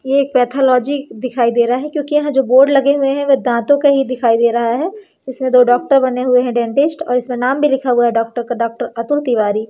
ये एक पैथोलॉजी दिखाई दे रहा है क्योंकि यहां जो बोर्ड लगे हुए हैं वह दांतों का ही दिखाई दे रहा है इसमें दो डॉक्टर बने हुए हैं डेंटिस्ट और इसमें नाम भी लिखा हुआ है डॉक्टर का डॉक्टर अतुल तिवारी।